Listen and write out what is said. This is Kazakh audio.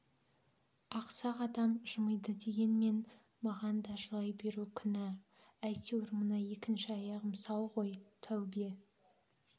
ақсақ адам жымиды дегенмен маған да жылай беру күнә әйтеуір мына екінші аяғым сау ғой тәубе